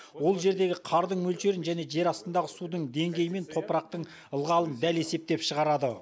ол жердегі қардың мөлшерін және жер астындағы судың деңгейі мен топырақтың ылғалын дәл есептеп шығарады